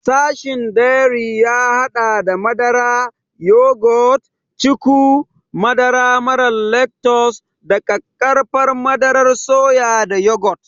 Sashin dairy ya haɗa da madara, yogurt, cuku, madara mara lactose da ƙaƙƙarfan madarar soya da yogurt.